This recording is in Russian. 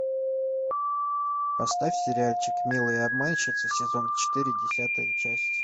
поставь сериальчик милые обманщицы сезон четыре десятая часть